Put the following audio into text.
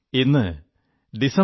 ഇന്ന് 25 ഡിസംബർ